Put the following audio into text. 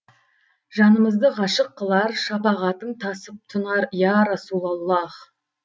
жанымызды ғашық қылар шапағатың тасып тұнар я расулаллах